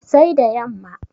Sai da yamma